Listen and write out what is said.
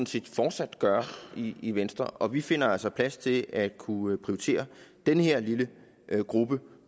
set fortsat gøre i venstre og vi finder altså plads til at kunne prioritere den her lille gruppe